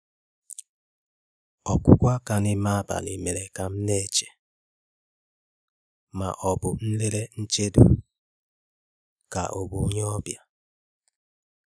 Ọ́kụ́kụ́ áká n’ímé ábalì mèré ká m ná-éché má ọ́ bụ̀ nlélé nchédò ká ọ́ bụ̀ ónyé ọ́bịà.